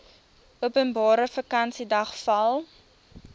openbare vakansiedag val